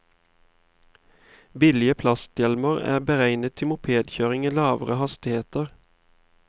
Billige plasthjelmer er beregnet til mopedkjøring i lavere hastigheter.